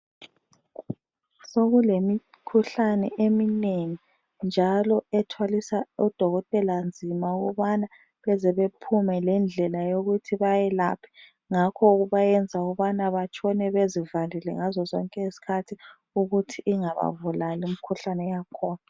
Sokulemikhuhlane eminengi njalo ethwalisa odokotela nzima ukubana beze bephume lendlela yokuthi bayelaphe. Ngakho kubayenza ukubana batshone bezivalile ngazo zonke izikhathi ukuthi ingababulali imkhuhlane yakhona.